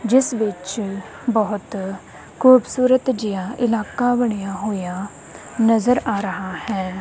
ਜਿਸ ਵਿੱਚ ਬਹੁਤ ਖੂਬਸੂਰਤ ਜਿਹਾ ਇਲਾਕਾ ਬਣਿਆ ਹੋਇਆ ਨਜ਼ਰ ਆ ਰਿਹਾ ਹੈ।